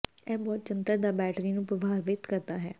ਇਹ ਬਹੁਤ ਜੰਤਰ ਦਾ ਬੈਟਰੀ ਨੂੰ ਪ੍ਰਭਾਵਿਤ ਕਰਦਾ ਹੈ